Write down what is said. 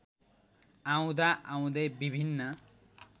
आउँदाआउँदै विभिन्न